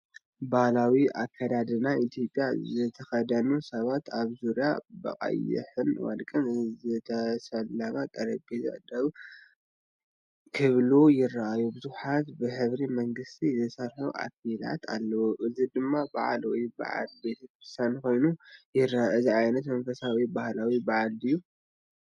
ባህላዊ ኣከዳድና ኢትዮጵያ ዝተኸድኑ ሰባት ኣብ ዙርያ ብቐይሕን ወርቅን ዝተሰለመ ጠረጴዛ ደው ክብሉ ይረኣዩ። ብዙሓት ብሕብሪ መንግስቲ ዝተሰርሑ ኣኽሊላት ኣለዉ። እዚ ድማ በዓል ወይ በዓል ቤተ ክርስቲያን ኮይኑ ይረአ። እዚ ዓይነት መንፈሳዊ ወይ ባህላዊ በዓል ድዩ?